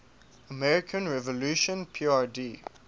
democratic revolution prd